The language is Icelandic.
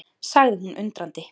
sagði hún undrandi.